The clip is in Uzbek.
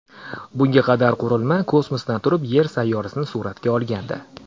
Bunga qadar qurilma kosmosdan turib Yer sayyorasini suratga olgandi.